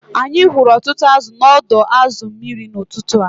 Anyị hụrụ ọtụtụ azụ̀ n’ọdọ azu mmiri n’ụtụtụ taa